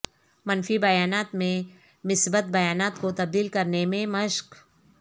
منفی بیانات میں مثبت بیانات کو تبدیل کرنے میں مشق